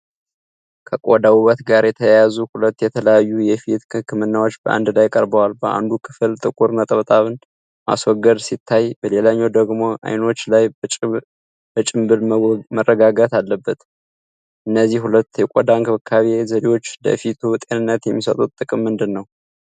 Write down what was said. ከቆዳ ውበት ጋር የተያያዙ ሁለት የተለያዩ የፊት ህክምናዎች በአንድ ላይ ቀርበዋል። በአንዱ ክፍል ጥቁር ነጥቦችን ማስወገድ ሲታይ፣ በሌላኛው ደግሞ አይኖች ላይ በጭንብል መረጋጋት አለ። እነዚህ ሁለት የቆዳ እንክብካቤ ዘዴዎች ለፊቱ ጤንነት የሚሰጡት ጥቅም ምንድን ነው?